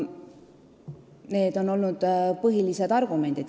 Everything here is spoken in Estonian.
Need on põhilised argumendid.